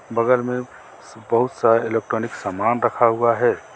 बगल में बहुत सा इलेक्ट्रॉनिक सामान रखा हुआ है.